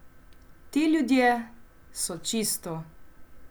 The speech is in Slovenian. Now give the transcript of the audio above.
Ti ljudje so čisto ...